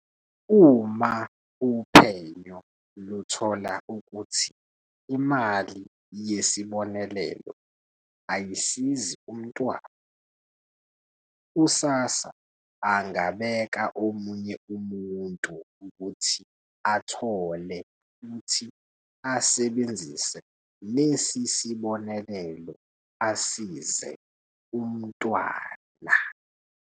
"Uma uphenyo luthola ukuthi imali yesibonelelo ayisizi umntwana, u-SASSA angabeka omunye umuntu ukuthi athole futhi asebenzise lesi sibonelelo asize umntwana."